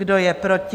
Kdo je proti?